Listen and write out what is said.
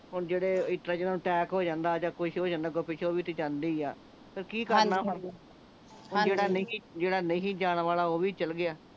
ਹੁਣ ਜਿਹੜੇ ਇਸਤਰਾਂ ਜਿੰਨਾਂ ਨੂੰ ਅਟੈਕ ਹੋ ਜਾਂਦਾ ਜਾ ਕੁਛ ਹੋ ਜਾਂਦਾ ਓਹ ਵੀ ਤੇ ਜਾਂਦੇ ਹੀ ਆ ਤੇ ਕੀ ਕਰਨਾ ਜਿਹੜਾ ਨਹੀਂ ਜਿਹੜਾ ਨਹੀਂ ਜਾਣ ਵਾਲਾ ਓਹ ਵੀ ਚੱਲ ਗਿਆ